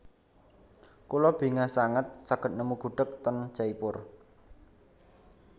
Kula bingah sanget saged nemu gudheg ten Jaipur